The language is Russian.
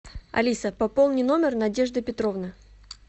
алиса пополни номер надежды петровны